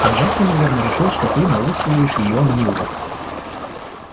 а джастин наверное решил что ты науськиваешь её на него